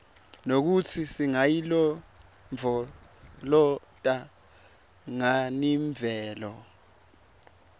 nekutsi singayilondvolozata nganiimvelo